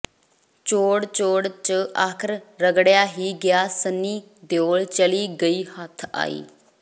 ਚੋੜ ਚੋੜ ਚ ਆਖਰ ਰਗੜਿਆ ਹੀ ਗਿਆ ਸੰਨੀ ਦਿਓਲ ਚਲੀ ਗਈ ਹੱਥ ਆਈ